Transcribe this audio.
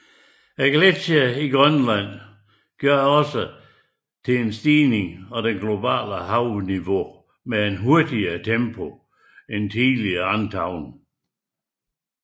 Gletsjere i Grønland bidrager også til en stigning i det globale havniveau med et hurtigere tempo end tidligere antaget